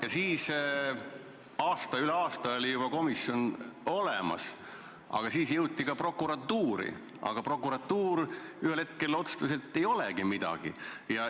Ja siis, üle aasta oli juba komisjon olemas ja siis jõuti ka prokuratuuri, aga prokuratuur ühel hetkel otsustas, et ei olegi midagi.